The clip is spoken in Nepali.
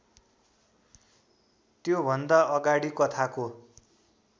त्योभन्दा अगाडि कथाको